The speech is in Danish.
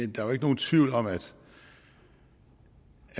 jo ikke nogen tvivl om at